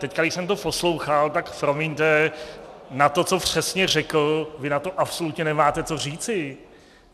Teď, když jsem to poslouchal, tak promiňte, na to, co přesně řekl, vy na to absolutně nemáte co říci.